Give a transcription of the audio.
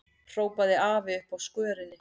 hrópaði afi uppi á skörinni.